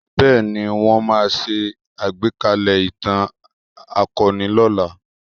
Bẹ́ẹ̀ ni, wọn máa ṣe agbekalẹ̀ ìtàn akọni lọ́la